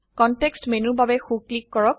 context মেনুৰ বাবে so click কৰক